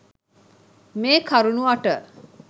මේ කරුණු අට